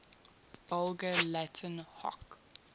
vulgar latin hoc